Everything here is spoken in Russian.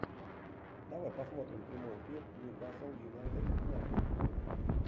давай посмотрим прямой эфир ньюкасл юнайтед юнайтед